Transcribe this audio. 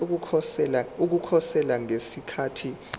ukukhosela ngesikhathi isicelo